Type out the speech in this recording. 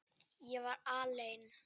Ég var alein.